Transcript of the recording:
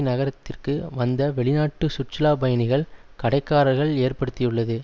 நகரத்திற்கு வந்த வெளிநாட்டு சுற்றுலா பயணிகள் கடைக்காரர்கள் ஏற்படுத்தியுள்ளது